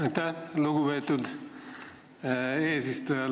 Aitäh, lugupeetud eesistuja!